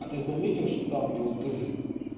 а ты заметил что там где вот ты